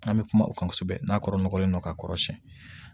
An bɛ kuma o kan kosɛbɛ n'a kɔrɔ nɔgɔlen don ka kɔrɔ siyɛn